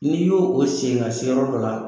N'i y'o o sen ka se yɔrɔ dɔ la